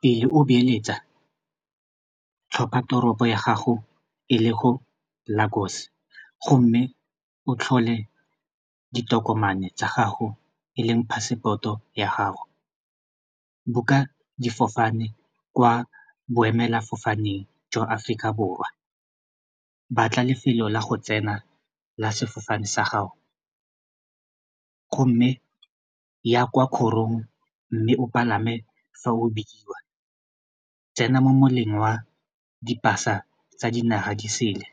Pele o beeletsa tlhopha toropo ya gago e le go Lagos, gomme o tlhole ditokomane tsa gago eleng passport-o ya gago book-a difofane kwa boemela fofaneng jwa Aforika Borwa batla lefelo la go tsena la sefofane sa gago gomme ya kwa kgorong mme o palame fa o bidiwa tsena mo moleng wa di-pass-a tsa dinaga disele